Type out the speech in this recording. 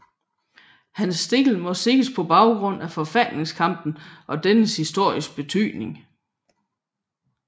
Han stil må ses på baggrund af forfatningskampen og dennes historiske betydning